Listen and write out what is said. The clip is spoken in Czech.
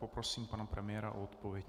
Poprosím pana premiéra o odpověď.